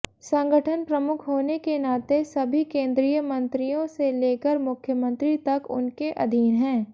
संगठन प्रमुख होने के नाते सभी केंद्रीय मंत्रियों से लेकर मुख्यमंत्री तक उनके अधीन हैं